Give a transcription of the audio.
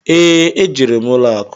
Ee, e jere m ụlọ akụ.